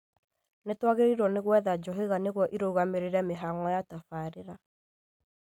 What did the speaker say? Nĩtwagĩrĩirwo nĩ gwetha njũhĩga nĩguo irũgamĩrĩre mĩhang'o ya tabarĩra